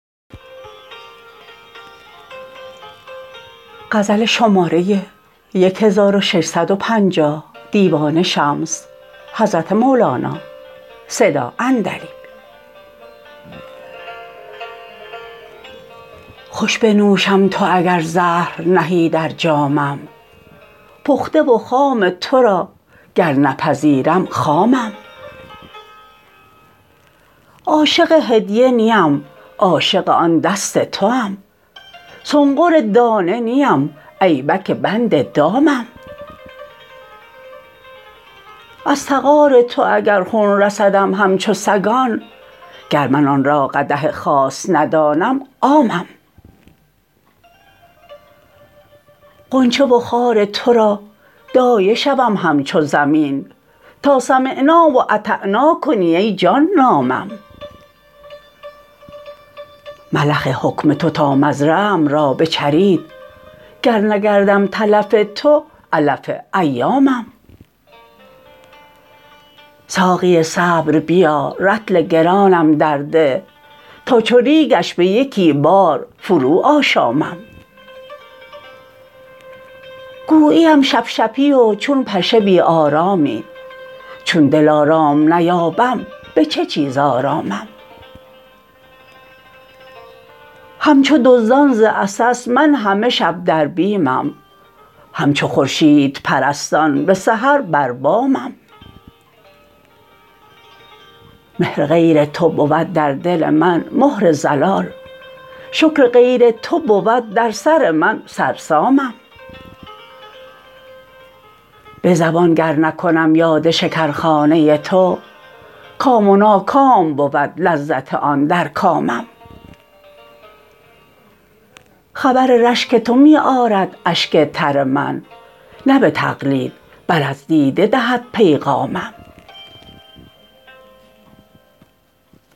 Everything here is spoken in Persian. خوش بنوشم تو اگر زهر نهی در جامم پخته و خام تو را گر نپذیرم خامم عاشق هدیه نیم عاشق آن دست توام سنقر دانه نیم ایبک بند دامم از تغار تو اگر خون رسدم همچو سگان گر من آن را قدح خاص ندانم عامم غنچه و خار تو را دایه شوم همچو زمین تا سمعنا و اطعنا کنی ای جان نامم ملخ حکم تو تا مزرعه ام را بچرید گر نگردم تلف تو علف ایامم ساقی صبر بیا رطل گرانم درده تا چو ریگش به یکی بار فروآشامم گوییم شپشپی و چون پشه بی آرامی چون دلارام نیابم به چه چیز آرامم همچو دزدان ز عسس من همه شب در بیمم همچو خورشیدپرستان به سحر بر بامم مهر غیر تو بود در دل من مهر ضلال شکر غیر تو بود در سر من سرسامم به زبان گر نکنم یاد شکرخانه تو کام و ناکام بود لذت آن در کامم خبر رشک تو می آرد اشک تر من نه به تقلید بل از دیده دهد پیغامم